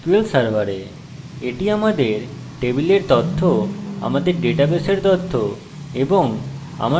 এখানে আমরা আমার পরিষেবা আমার ডাটাবেসের ভিতরে দেখব